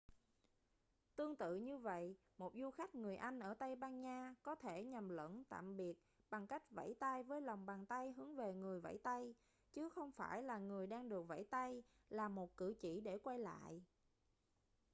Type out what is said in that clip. tương tự như vậy một du khách người anh ở tây ban nha có thể nhầm lẫn tạm biệt bằng cách vẫy tay với lòng bàn tay hướng về người vẫy tay chứ không phải là người đang được vẫy tay là một cử chỉ để quay lại